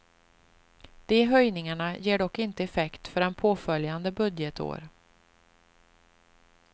De höjningarna ger dock inte effekt förrän påföljande budgetår.